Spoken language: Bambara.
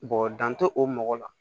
dan tɛ o mɔgɔ la